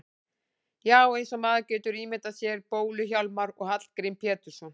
Já, eins og maður getur ímyndað sér Bólu-Hjálmar og Hallgrím Pétursson.